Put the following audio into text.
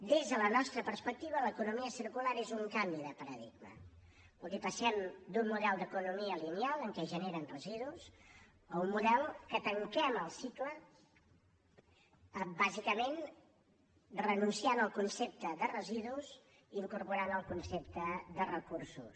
des de la nostra perspectiva l’economia circular és un canvi de paradigma vol dir passem d’un model d’economia lineal en què es generen residus a un model que tanquem el cicle bàsicament renunciant al concepte de residus i incorporant el concepte de recursos